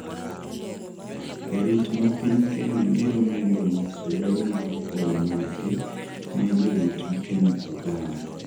Jarit ma piny Kenya biro medo nyiso ber mar kwayo margi ne jorit piny Uganda